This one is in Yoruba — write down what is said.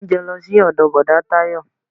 Mú oúnjẹ lọ sí ọdọ bọ̀dá Tayo